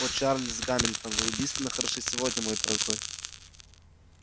о чарлз гамильтон вы убийственно хороши сегодня мой дорогой